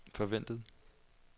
forventet